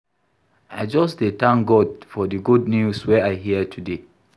I just dey tank God for di good news wey I hear today.